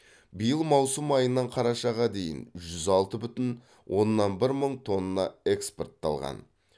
биыл маусым айынан қарашаға дейін жүз алты бүтін оннан бір мың тонна экспортталған